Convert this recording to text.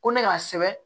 Ko ne k'a sɛbɛn